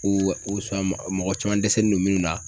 mɔgɔ caman dɛsɛlen don minnu na